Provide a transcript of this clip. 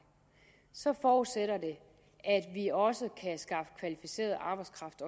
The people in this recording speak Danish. så forudsætter det at vi også kan skaffe kvalificeret arbejdskraft